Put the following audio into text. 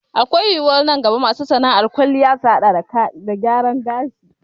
Akwai yiwuwar nan gaba masu sana'ar kwalliya su haɗa da gyaran gashi